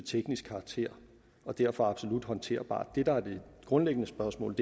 teknisk karakter og derfor absolut håndterbart det der er det grundlæggende spørgsmål